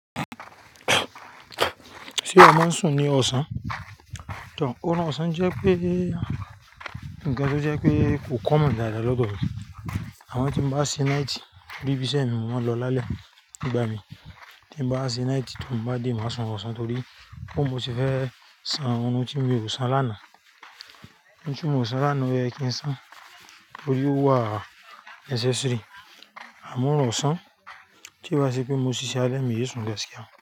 Sé o máa ń sùn ní ọ̀sán? Tòh, ọ̀run ọ̀sán jẹ́ pé ńǹkan tó jẹ́ pé kò common dáadáa lọ́dọ̀ mi. Àmọ́ tí mo bá ṣe night ni bi iṣẹ́ mi, mo máa ń lọ lálẹ́ nígbà mìí, tí mo bá ṣe night tí n bá dé màá sùn orun ọ̀sán torí bóo mo ṣe fẹ́ san àwọn orun tí mi ò sán lánàá. Orun tí mi ò sán lánàá, ó yẹ kí n san torí ó wà necessary. Àmọ́ ọ̀sán tí o bá ṣe pé mo ṣíṣe alẹ́ mi isùn.